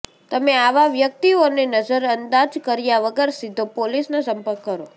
તમે આવાં વ્યક્તિઓને નજરઅંદાજ કર્યા વગર સીધો પોલીસને સંપર્ક કરો